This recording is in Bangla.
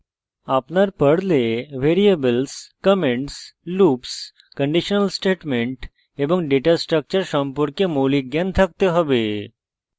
আপনার পর্লে variables comments loops conditional statements এবং ডেটা স্ট্রাকচার সম্পর্কে মৌলিক জ্ঞান থাকতে have